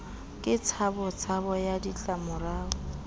ke tshabo tshabo ya ditlamorao